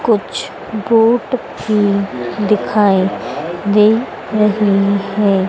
कुछ बोट भी दिखाई दे रही है।